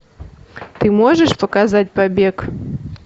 ты можешь показать побег